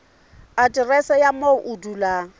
aterese ya moo o dulang